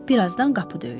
Birazdan qapı döyülür.